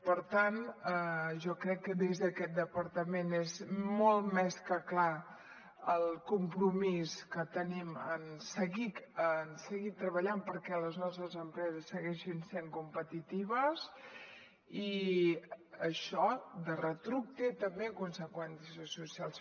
per tant jo crec que des d’aquest departament és molt més que clar el compromís que tenim en seguir treballant perquè les nostres empreses segueixin sent competitives i això de retruc té també conseqüències socials